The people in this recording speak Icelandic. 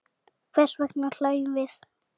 Hvers vegna hlæjum við?